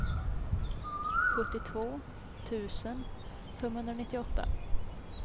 sjuttiotvå tusen femhundranittioåtta